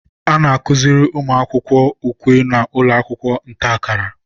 a na-akụziri ụmụaka ukwe na ụlọakwụkwọ ntakara